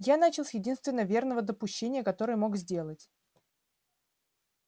я начал с единственного верного допущения которое мог сделать